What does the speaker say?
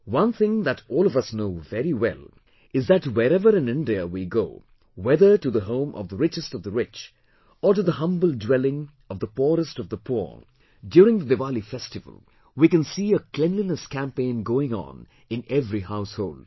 One thing that all of us know very well is that wherever in India we go, whether to the home of the richest of the rich or to the humble dwelling of the poorest of the poor, during the Diwali festival we can see a cleanliness campaign going on in every household